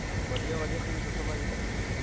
ਵਧੀਆ ਤੁਸੀਂ ਦੱਸੋ ਭਾਜੀ?